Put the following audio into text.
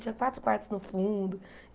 Tinha quatro quartos no fundo.